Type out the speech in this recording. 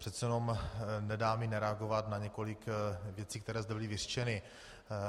Přece jenom nedá mi nereagovat na několik věcí, které zde byly vyřčeny.